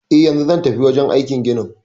Eh, yanzu zan tafi wajen aikin ginin